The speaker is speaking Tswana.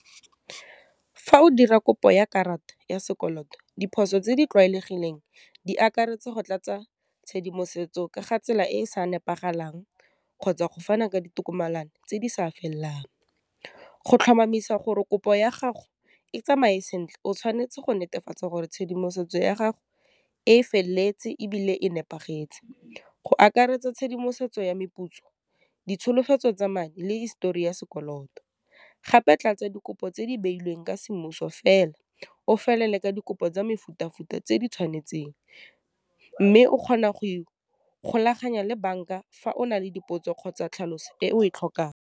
Fa o dira kopo ya karata ya sekoloto, diphoso tse di tlwaelegileng di akaretsa go tlatsa tshedimosetso ka ga tsela e e sa nepagalang kgotsa, go fana ka ditokomane tse di sa felelang. Go tlhomamisa gore kopo ya gago e tsamaye sentle, o tshwanetse go netefatsa gore tshedimosetso ya gago e feleletse, ebile e nepagetse, go akaretsa tshedimosetso ya meputso, ditsholofetso tsa madi, le histori ya sekoloto, gape tlatsa dikopo tse di beilweng ka semmuso fela, o felele ka dikopo tsa mefutafuta tse di tshwanetseng, mme o kgona go ikgolaganya le bank-a fa o na le dipotso kgotsa tlhaloso e o e tlhokang.